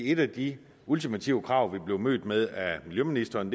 et af de ultimative krav vi blev mødt med af miljøministeren